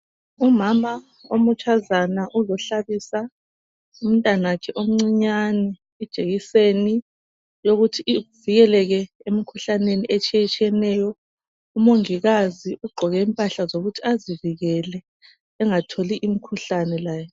Umama omutshazana uzohlabisa umntanakhe omncinyane ijekiseni yokuthi evikeleke emikhuhlaneni etshiyetshiyeneyo. Umongikazi ugqoke impahla zokuthi azivikele, engatholi imikhuhlane laye.